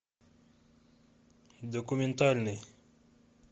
документальный